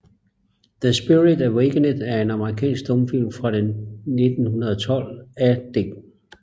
The Spirit Awakened er en amerikansk stumfilm fra 1912 af D